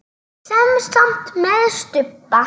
Semsagt með stubba.